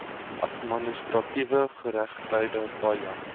administratiewe geregtigheid paja